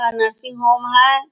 लता nursing home है।